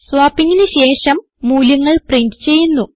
swappingന് ശേഷം മൂല്യങ്ങൾ പ്രിന്റ് ചെയ്യുന്നു